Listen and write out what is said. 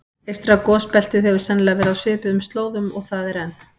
Eystra gosbeltið hefur sennilega verið á svipuðum slóðum og það er enn.